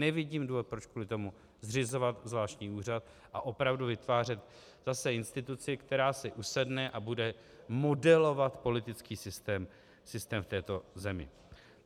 Nevidím důvod, proč kvůli tomu zřizovat zvláštní úřad a opravdu vytvářet zase instituci, která si usedne a bude modelovat politický systém v této zemi.